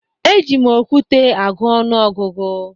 Eji m okwute agụ ọnụọgụgụ